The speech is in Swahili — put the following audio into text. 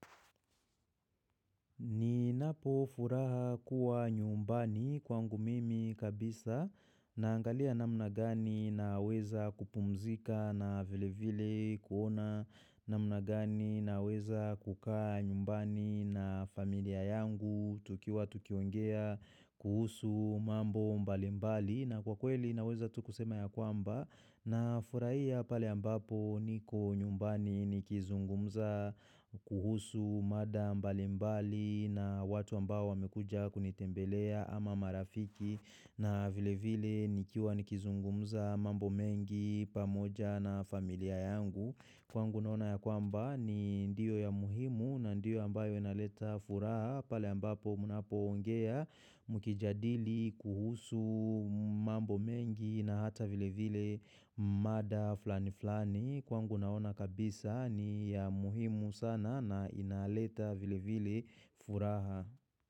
Ninapo furaha kuwa nyumbani kwangu mimi kabisa naangalia namna gani naweza kupumzika na vile vile kuona namna gani naweza kukaa nyumbani na familia yangu tukiwa tukiongea kuhusu mambo mbali mbali. Na kwa kweli naweza tu kusema yakwamba nafurahia pale ambapo niko nyumbani nikizungumza kuhusu mada mbalimbali na watu ambao wamekuja kunitembelea ama marafiki na vile vile nikiwa nikizungumza mambo mengi pamoja na familia yangu. Kwangu naona ya kwamba ni ndio ya muhimu na ndio ambayo inaleta furaha pale ambapo mnapoongea mkijadili kuhusu mambo mengi na hata vile vile mada flani flani. Kwa ngu naona kabisa ni ya muhimu sana na inaleta vile vile furaha.